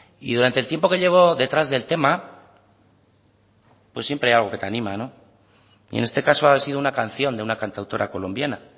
y durante el tiempo que llevo detrás del tema pues siempre hay algo que te anima y en este caso ha sido una canción de una cantautora colombiana